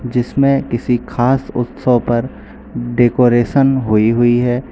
जिसमें किसी खास उत्सव पर डेकोरेसन हुई हुई है।